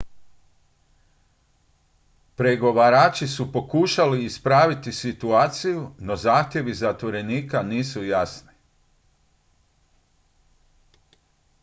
pregovarači su pokušali ispraviti situaciju no zahtjevi zatvorenika nisu jasni